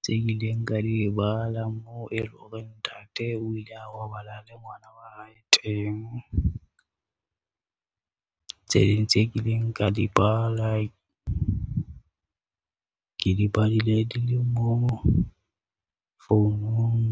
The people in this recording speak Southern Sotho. tse ileng ka di bala, moo e leng hore ntate o ile a robala le ngwana wa hae teng. Tse ding tse kileng ka di bala ke di badile dilemo founung.